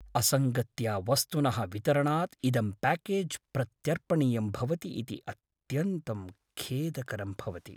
असङ्गत्या वस्तुनः वितरणात् इदं प्याकेज् प्रत्यर्पणीयं भवति इति अत्यन्तं खेदकरं भवति।